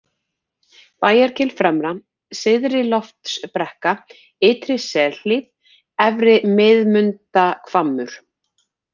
Bæjargil fremra, Syðri-Loftsbrekka, Ytri-Selhlíð, Efri-Miðmundahvammur